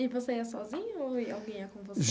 E você é sozinho ou alguém é com você?